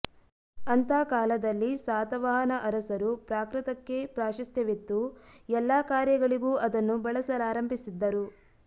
ಅಂಥ ಕಾಲದಲ್ಲಿ ಸಾತವಾಹನ ಅರಸರು ಪ್ರಾಕೃತಕ್ಕೆ ಪ್ರಾಶಸ್ತ್ಯವಿತ್ತು ಎಲ್ಲ ಕಾರ್ಯಗಳಿಗೂ ಅದನ್ನು ಬಳಸಲಾರಂಭಿಸಿದ್ದರು